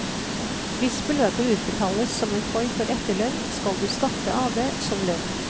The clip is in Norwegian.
Hvis beløpet utbetales som en form for etterlønn, skal du skatte av det som lønn.